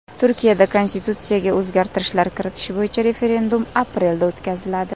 Turkiyada konstitutsiyaga o‘zgartirishlar kiritish bo‘yicha referendum aprelda o‘tkaziladi.